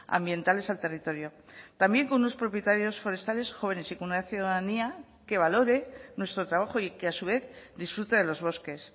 ambientales al territorio también con unos propietarios forestales jóvenes y con una ciudadanía que valore nuestro trabajo y que a su vez disfrute de los bosques